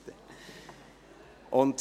2018.RRGR.735 Fortsetzung